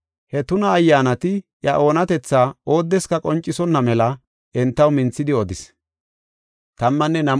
He tuna ayyaanati iya oonatetha oodeska qoncisonna mela entaw minthidi odis.